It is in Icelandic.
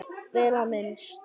Vel á minnst.